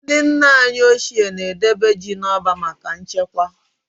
Ndị nna anyị ochie na-edebe ji n'ọba maka nchekwa.